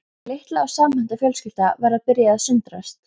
Okkar litla og samhenta fjölskylda var að byrja að sundrast